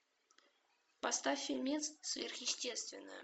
поставь фильмец сверхъестественное